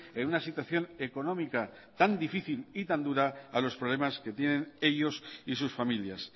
en una situación económica tan difícil y tan dura a los problemas que tienen ellos y sus familias